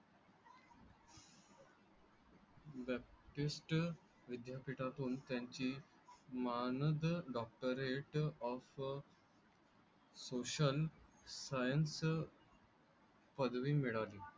विद्यापीठातून त्यांची मानद डॉक्टरेट ऑफ सोशल सायन्स पदवी मिळाली.